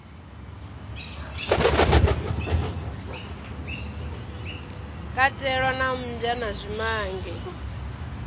katelwa na mmbwa na zwimange